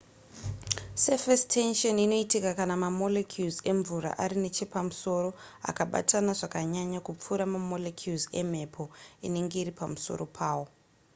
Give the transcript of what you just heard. surface tension inoitika kana mamolecules emvura ari nechepamusoro akabatana zvakanyanya kupfuura mamolecules emhepo inenge iri pamusoro pawo